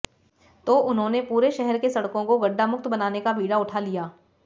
तो उन्होनें पूरे शहर के सड़कों को गड्ढामुक्त बनाने का बीड़ा उठा लिया